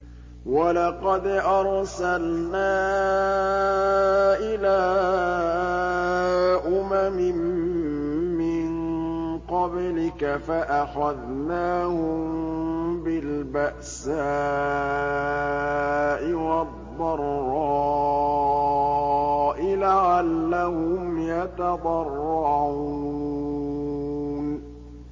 وَلَقَدْ أَرْسَلْنَا إِلَىٰ أُمَمٍ مِّن قَبْلِكَ فَأَخَذْنَاهُم بِالْبَأْسَاءِ وَالضَّرَّاءِ لَعَلَّهُمْ يَتَضَرَّعُونَ